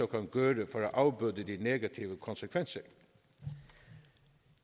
kan gøre for at afbøde de negative konsekvenser